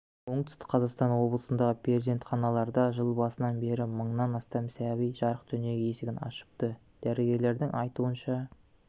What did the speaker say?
оңтүстік қазақстан облысынағы перзентханаларда жыл басынан бері мыңнан астам сәби жарық дүние есігін ашыпты дәрігерлердің айтуынша